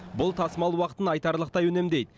бұл тасымал уақытын айтарлықтай үнемдейді